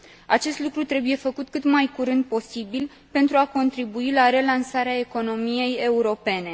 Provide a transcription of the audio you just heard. Acest lucru trebuie făcut cât mai curând posibil, pentru a contribui la relansarea economiei europene.